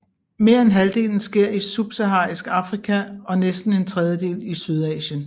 Mere end halvdelen sker i Subsaharisk Afrika og næsten en tredjedel i Sydasien